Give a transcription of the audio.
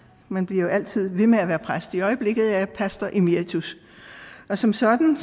man bliver jo altid ved med at være præst i øjeblikket er jeg pastor emeritus og som sådan